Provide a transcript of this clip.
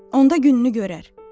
Onda gününü görər.